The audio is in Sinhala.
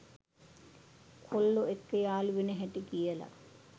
කොල්ලො එක්ක යාලු වෙන හැටි කියල.